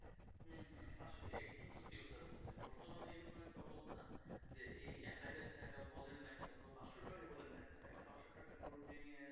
ভেঙে